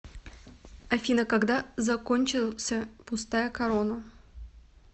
афина когда закончился пустая корона